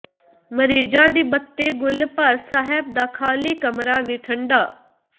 ਮਰੀਜ਼ਾਂ ਦੀ ਬੱਤੀ ਗੁੱਲ ਪਰ ਸਾਹਿਬ ਦਾ ਖਾਲ੍ਹੀ ਕਮਰਾ ਵੀ ਠੰਢਾ